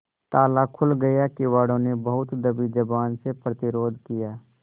ताला खुल गया किवाड़ो ने बहुत दबी जबान से प्रतिरोध किया